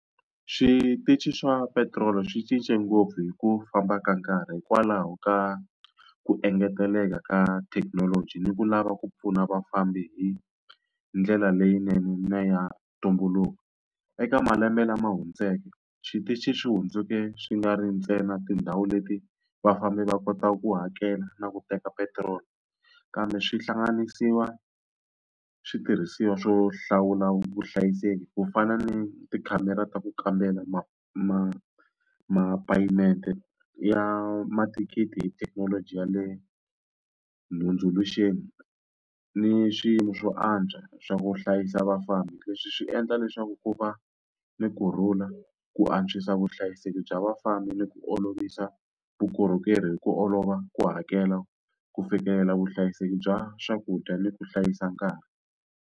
Switichi swa petiroli swi cince ngopfu hi ku famba ka nkarhi hikwalaho ka ku engeteleka ka thekinoloji, ni ku lava ku pfuna vafambi hi ndlela leyinene ya ntumbuluko. Eka malembe lama hundzeke switichi swi hundzuke swi nga ri ntsena tindhawu leti vafambi va kotaka ku hakela na ku teka petiroli, kambe swi hlanganisiwa switirhisiwa swo hlawula vuhlayiseki. Ku fana ni tikhamera ta ku kambela mapheyimenti ya mathikithi hi thekinoloji ya le , ni swilo swo antswa swa ku hlayisa vafambi. Leswi swi endla leswaku ku va a ni kurhula, ku antswisa vuhlayiseki bya vafambi ni ku olovisa vukorhokeri hi ku olova, ku hakela, ku fikelela vuhlayiseki bya swakudya, ni ku hlayisa nkarhi.